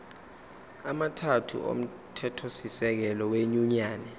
amathathu omthethosisekelo wenyunyane